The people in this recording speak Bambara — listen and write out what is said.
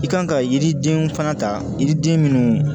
I kan ka yiridenw fana ta yiriden minnu